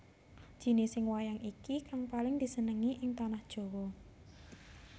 Jinising wayang iki kang paling disenengi ing Tanah Jawa